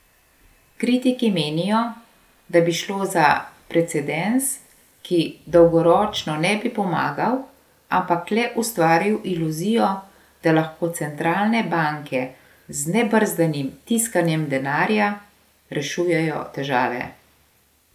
Kritiki menijo, da bi šlo za precedens, ki dolgoročno ne bi bi pomagal, ampak le ustvaril iluzijo, da lahko centralne banke z nebrzdanim tiskanjem denarja rešujejo težave.